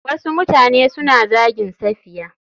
Wasu mutane suna zagin safiya.